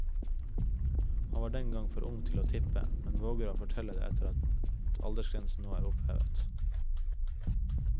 Han var den gang for ung til å tippe, men våger å fortelle det etter at aldersgrensen nå er opphevet.